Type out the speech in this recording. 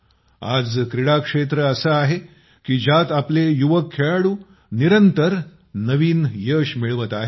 आज क्रीडा क्षेत्र असं आहे की ज्य़ात आपले युवक खेळाडू निरंतर नवीन यश मिळवत आहेत